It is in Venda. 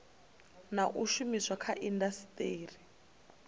na u shumiswa kha indasiteri